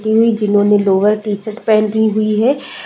जिन्होंने lower T-shirt पहनी हुई है ।